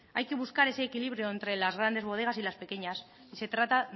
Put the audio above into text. hay que buscar ese equilibrio entre las grandes bodegas y las pequeñas y se trata